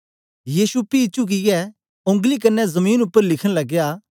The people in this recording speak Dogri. यीशु पी चुकियै ओंगली कन्ने जमीन उपर लिखन लगया